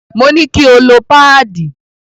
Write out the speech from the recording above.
Mo ní kí o lo páàdì.